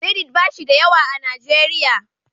Reddit ba shi da yawa a Najeriya.